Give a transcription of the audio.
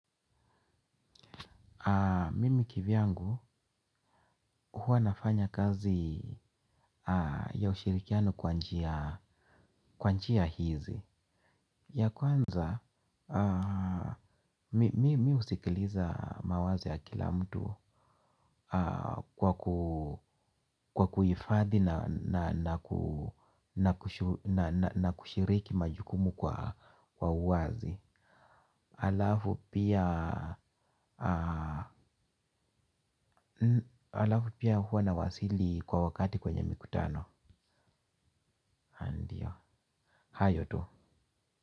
Mimi kivyangu huwanafanya kazi ya ushirikiano kwanjia hizi. Ya kwanza, mi usikiliza mawazo ya kila mtu kwa kuhifadhi na kushiriki majukumu kwa uwazi. Alafu pia huwa na wasili kwa wakati kwenye mikutano. Haa ndiyo hayo tu.